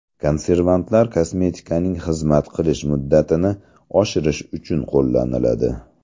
Konservantlar kosmetikaning xizmat qilish muddatini oshirish uchun qo‘llaniladi.